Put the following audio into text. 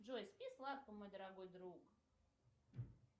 джой спи сладко мой дорогой друг